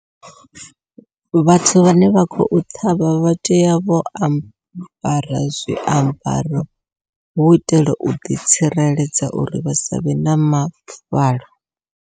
Vhathu vhane vha khou ṱhavha vhatea vho ambara zwiambaro, hu itela u ḓitsireledza uri vha savhe na mafuvhalo.